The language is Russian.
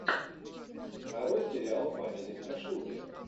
нарой сериал в манере страшилки